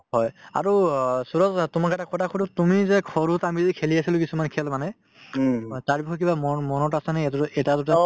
হয়, আৰু অ সূৰজ তোমাক এটা কথা সুধো তুমি যে সৰুত আমি যে খেলি আছিলো কিছুমান খেল মানে অ তাৰ বিষয়ে কিবা মন মনত আছে আজিলৈ এটা দুটা